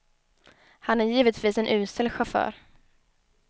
Han är givetvis en usel chaufför.